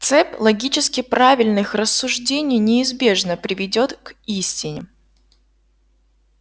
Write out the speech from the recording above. цепь логически правильных рассуждений неизбежно приведёт к истине